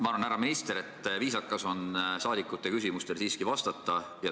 Ma arvan, härra minister, et viisakas on saadikute küsimustele siiski vastata.